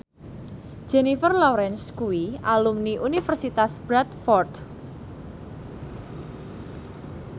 Jennifer Lawrence kuwi alumni Universitas Bradford